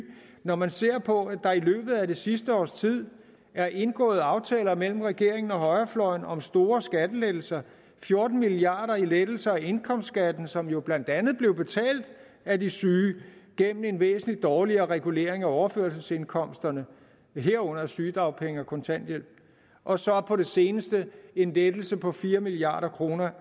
når man ser på at der i løbet af det sidste års tid er indgået aftaler mellem regeringen og højrefløjen om store skattelettelser fjorten milliard kroner i lettelser af indkomstskatten som jo blandt andet blev betalt af de syge gennem en væsentlig dårligere regulering af overførselsindkomsterne herunder af sygedagpenge og kontanthjælp og så på det seneste en lettelse på fire milliard kroner